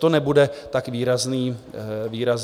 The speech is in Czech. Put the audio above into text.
To nebude tak výrazný dopad.